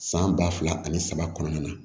San ba fila ani saba kɔnɔna na